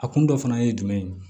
A kun dɔ fana ye jumɛn ye